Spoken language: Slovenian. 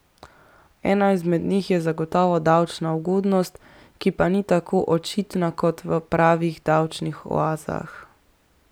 Ena izmed njih je zagotovo davčna ugodnost, ki pa ni tako očitna kot v pravih davčnih oazah.